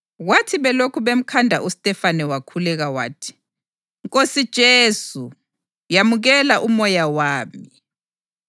Kwathi belokhu bemkhanda uStefane wakhuleka wathi, “Nkosi Jesu, yamukela umoya wami.”